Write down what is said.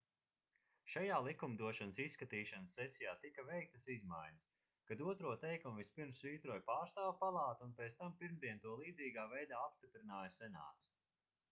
šajā likumdošanas izskatīšanas sesijā tika veiktas izmaiņas kad otro teikumu vispirms svītroja pārstāvju palāta un pēc tam pirmdien to līdzīgā veidā apstiprināja senāts